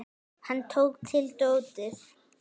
Hann tók til dótið.